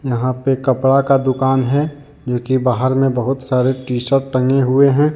यहां पे कपड़ा का दुकान है जो कि बाहर में बहोत सारे टी शर्ट टंगे हुए हैं।